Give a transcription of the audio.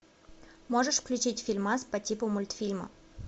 можешь включить фильмас по типу мультфильма